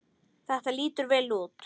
Þetta lítur vel út.